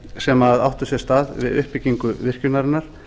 sem áttu sér stað við uppbyggingu virkjunarinnar